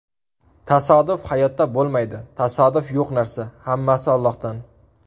Tasodif hayotda bo‘lmaydi, tasodif yo‘q narsa, hammasi Allohdan.